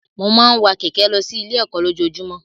Mo máa ń wa kẹ̀kẹ́ lọ sí ilé ẹ̀kọ́ lójojúmọ́.